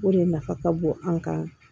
O de nafa ka bon an kan